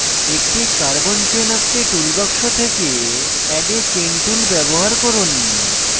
একটি carbon chain আঁকতে tool box থেকে add a chain tool ব্যবহার করুন